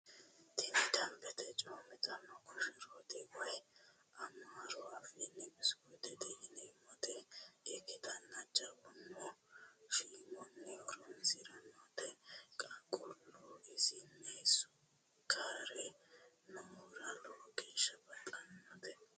Tinni damibete coomitanno koshorotti woyi amaaru afini bisikuttete yiinanitta ikitana jawuno shiimunno horonisiranotte qaaqulu isinni suukare noohura lowo geesha baxxanote